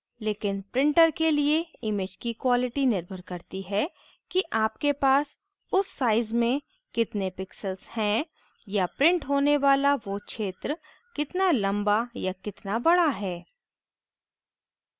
लेकिन printer के लिए image की quality निर्भर करती है कि आपके पास उस size me कितने pixels हैं या printer होने वाला वो क्षेत्र कितना लम्बा या कितना बड़ा है